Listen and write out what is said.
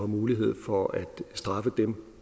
mulighed for at straffe dem